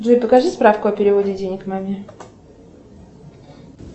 джой покажи справку о переводе денег маме